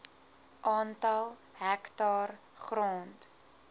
aantal hektaar grond